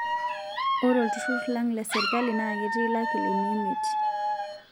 Ore olturur lang' le sirkali na ketii lakilini miet